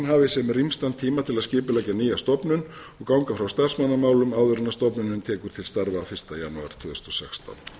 hafi sem rýmstan tíma til að skipuleggja nýja stofnun og ganga frá starfsmannamálum áður en stofnunin tekur til starfa fyrsta janúar tvö þúsund og sextán